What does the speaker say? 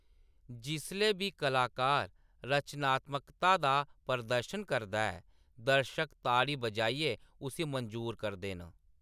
जिसलै बी कलाकार रचनात्मकता दा प्रदर्शन करदा ऐ, दर्शक ताड़ी बजाइयै उस्सी मंजूर करदे न।